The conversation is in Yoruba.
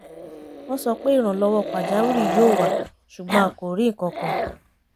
wọ́n sọ pé ìrànlọ́wọ́ pajawiri yóò wá ṣùgbọ́n a kò rí nkankan